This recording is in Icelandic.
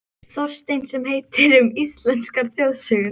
Þorstein sem heitir: Um íslenskar þjóðsögur.